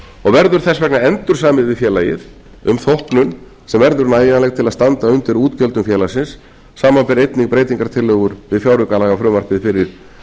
og verður þess vegna endursamið við félagið um þóknun sem verður nægjanleg til að standa undir útgjöldum félagsins samanber einnig breytingartillögur við fjáraukalagafrumvarpið fyrir